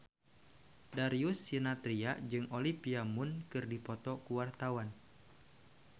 Darius Sinathrya jeung Olivia Munn keur dipoto ku wartawan